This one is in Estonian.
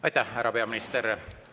Aitäh, härra peaminister!